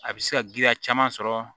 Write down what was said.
A bɛ se ka giriya caman sɔrɔ